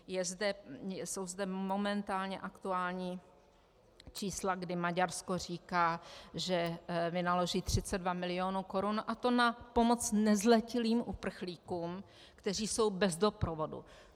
Jsou zde momentálně aktuální čísla, kdy Maďarsko říká, že vynaloží 32 milionů korun, a to na pomoc nezletilým uprchlíkům, kteří jsou bez doprovodu.